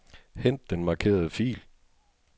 Hent den markerede fil.